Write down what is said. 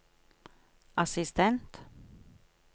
assistent